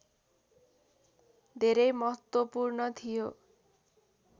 धेरै महत्त्वपूर्ण थियो